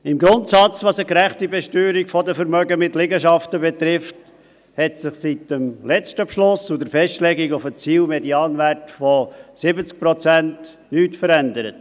Im Grundsatz – was eine gerechte Besteuerung der Vermögen mit Liegenschaften betrifft –, hat sich seit dem letzten Beschluss und der Festlegung auf einen Zielmedianwert von 70 Prozent nichts verändert.